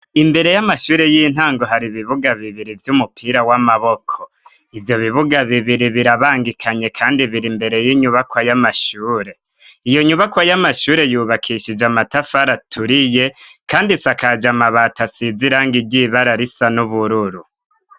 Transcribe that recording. Imbere y'amashure y'intango har'ibibuga bibiri vy'umupira w'amaboko, ivyo bibuga bibiri birabangikanye kandi biri imbere y'inyubakwa y'amashure, iyo nyubakwa y'amashure yubakishije amatafari aturiye, kandi isakaja amabati asizirangi ry'ibara risa n'ubururu.